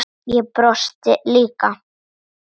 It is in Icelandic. Ég brosti líka.